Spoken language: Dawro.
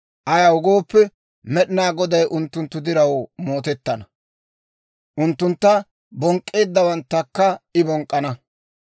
Ayaw gooppe, Med'inaa Goday unttunttu diraw mootettana; unttuntta bonk'k'eeddawanttakka I bonk'k'ana.